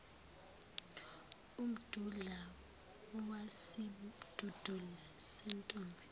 umdudla wesidudula sentombi